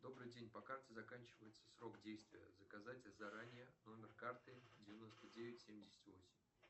добрый день по карте заканчивается срок действия заказать заранее номер карты девяносто девять семьдесят восемь